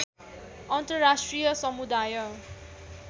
अन्तर्राष्ट्रिय समुदाय